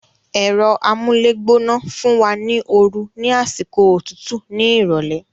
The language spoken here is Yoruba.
Ẹ̀rọ amúlégbóná fún wa ní oru ní àsìkò òtútù ní ìrọ̀lẹ́